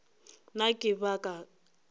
na ke ka baka la